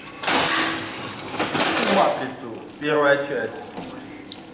включи матрицу первая часть